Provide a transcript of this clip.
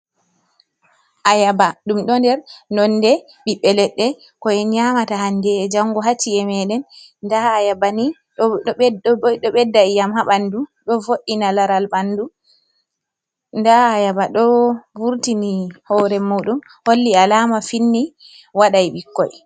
Ayaaba. Ɗum ɗo nder nonde ɓiɓɓe leɗɗe ko’en nyaamata hande e jango haa ci'e meeɗen. Nda ayaaba ni ɗo ɓedda njamu haa ɓandu, ɗo vo’ina laral ɓandu, nda ayaaba ɗo vurtini hoore muɗum, holli alaama finni waɗai ɓikkoi.